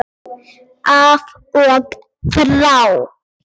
Af og frá!